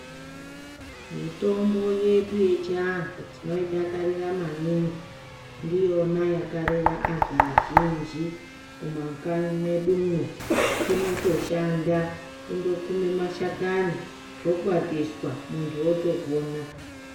Mitombo yedu yechiantu tinoidakarira maningi ndiyona yakarera antu azhinji kumakanyi mwedumo. Inotoshanda kundokume mashakani zvokwatiswa muntu otopona.